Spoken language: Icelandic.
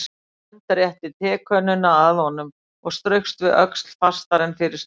Hönd rétti tekönnuna að honum og straukst við öxl fastar en fyrir slysni.